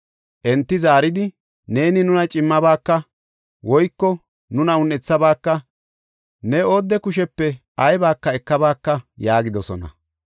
Enti zaaridi, “Neeni nuna cimmabaaka; woyko nuna un7ethabaaka; ne oodde kushepe aybaka ekabaaka” yaagidosona.